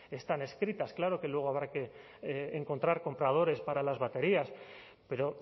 están escritas claro que luego habrá que encontrar compradores para las baterías pero